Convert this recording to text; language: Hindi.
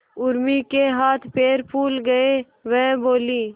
उर्मी के हाथ पैर फूल गए वह बोली